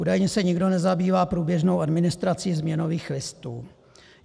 Údajně se nikdo nezabývá průběžnou administrací změnových listů.